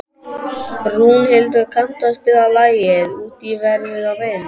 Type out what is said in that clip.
Rúnhildur, kanntu að spila lagið „Út í veður og vind“?